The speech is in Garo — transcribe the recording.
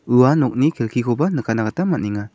ua nokni kelkikoba nikatna gita man·enga.